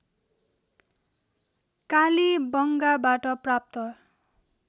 कालीबंगाबाट प्राप्त